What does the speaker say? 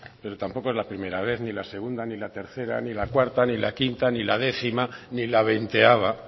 pero tampoco es la primera vez ni la segunda ni la tercera ni la cuarta ni la quinta ni la décima ni la veinteava